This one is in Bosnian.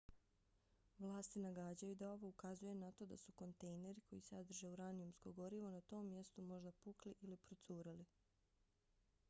vlasti nagađaju da ovo ukazuje na to da su kontejneri koji sadrže uranijumsko gorivo na tom mjestu možda pukli ili procurili